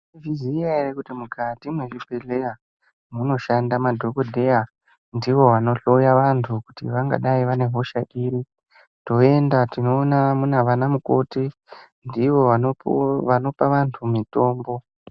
Mai zviziya ere kuti mukati mwe zvibhedhleya muno shanda madhokodheya ndivo vano hloya vantu kuti vangadai vane hosha iri toenda tino ona vana mukoti ndivo vanopa vantu mitombo.